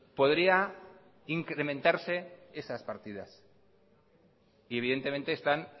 podría incrementarse esas partidas y evidentemente están